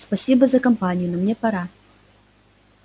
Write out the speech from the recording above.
спасибо за компанию но мне пора